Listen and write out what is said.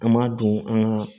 An m'a don an ga